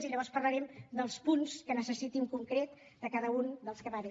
i llavors parlarem dels punts que necessiti en concret de cada un dels que m’ha dit